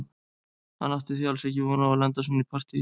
Hann átti því alls ekki von á að lenda í svona partíi.